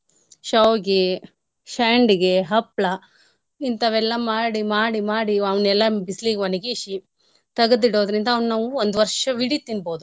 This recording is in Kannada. ಶ್ಯಾವ್ಗೆ, ಶ್ಯಂಡ್ಗೆ, ಹಪ್ಳ ಇಂತಾವೆಲ್ಲ ಮಾಡಿ ಮಾಡಿ ಮಾಡಿ ಅವ್ನೆಲ್ಲ ಬಿಸ್ಲಿಗ್ ಒಣ್ಗಿಸಿ ತಗದಿಡೋದ್ರಿಂದ ಅವ್ನ ನಾವು ಒಂದ್ ವರ್ಷವಿಡೀ ತಿನ್ಬೋದು.